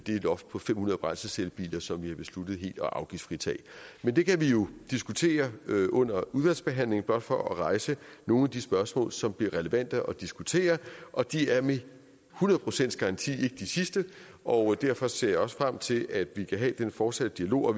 loft på fem hundrede brændselscellebiler som vi har besluttet helt at afgiftsfritage det kan vi jo diskutere under udvalgsbehandlingen blot for at rejse nogle af de spørgsmål som bliver relevante at diskutere og de er med et hundrede procents garanti ikke de sidste og derfor ser jeg også frem til at vi kan have den fortsatte dialog